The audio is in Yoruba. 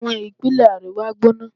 Àwọn ìpínlẹ̀ àríwá gbóná